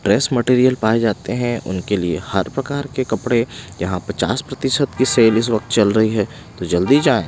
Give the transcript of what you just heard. Dress material पाए जाते हैं उनके लिए हर प्रकार के कपड़े यहाँ पचास प्रतिशत की सेल इस वक्त चल रही है तो जल्दी जाए।